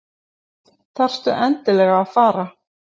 Þarftu endilega að fara?